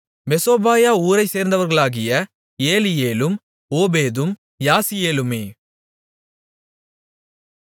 மெசோபாயா ஊரைச்சேர்ந்தவர்களாகிய ஏலியேலும் ஓபேதும் யாசீயேலுமே